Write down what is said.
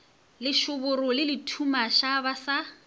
lešoboro le lethumaša ba sa